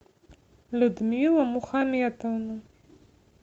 людмила мухаметовна